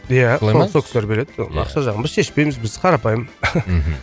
иә солай ма сол кісілер береді сол ақша жағын біз шешпейміз біз қарапайым мхм